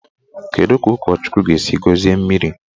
Kedụ ka ụkọchukwu ga-esi gọzie mmiri?